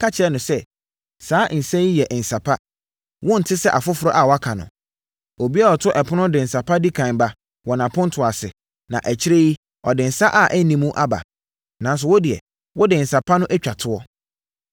ka kyerɛɛ no sɛ, “Saa nsã yi yɛ nsã pa. Wonte sɛ afoforɔ a wɔaka no. Obiara a ɔto ɛpono de nsã pa di ɛkan ba wɔ nʼapontoɔ ase, na akyire yi, ɔde nsã a ɛnni mu aba. Nanso, wo deɛ, wode nsã pa no atwa toɔ!”